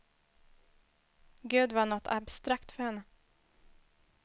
Gud var något abstrakt för henne.